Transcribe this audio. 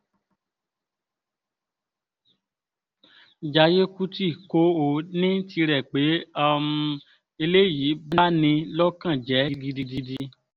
jayé kùtì kó o ní tirẹ̀ pé hḿḿ ẹlẹ́yìí bá ní lọ́kàn jẹ́ gidigidi